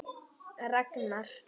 Ragnar